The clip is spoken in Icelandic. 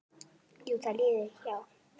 Jú, það líður hjá.